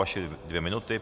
Vaše dvě minuty.